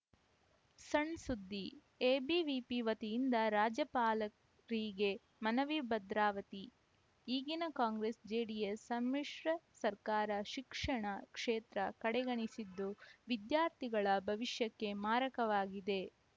ಸಣ್‌ಸುದ್ದಿ ಎಬಿವಿಪಿ ವತಿಯಿಂದ ರಾಜ್ಯಪಾಲ ರಿಗೆ ಮನವಿ ಭದ್ರಾವತಿ ಈಗಿನ ಕಾಂಗ್ರೆಸ್‌ಜೆಡಿಎಸ್‌ ಸಮ್ಮಿಶ್ರ ಸರ್ಕಾರ ಶಿಕ್ಷಣ ಕ್ಷೇತ್ರ ಕಡೆಗಣಿಸಿದ್ದು ವಿದ್ಯಾರ್ಥಿಗಳ ಭವಿಷ್ಯಕ್ಕೆ ಮಾರಕವಾಗಿದೆ